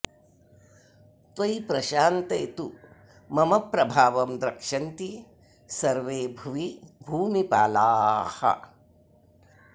त्वयि प्रशान्ते तु मम प्रभावं द्रक्ष्यन्ति सर्वे भुवि भूमिपालाः